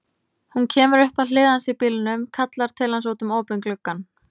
Hún kemur upp að hlið hans í bílnum, kallar til hans út um opinn gluggann.